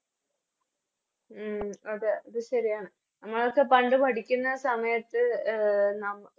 ഉം അതെ ഇത് ശെരിയാണ് നമ്മളൊക്കെ പണ്ട് പഠിക്കുന്ന സമയത്ത്ബ് അഹ് നമ